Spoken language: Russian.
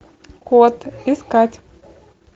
код искать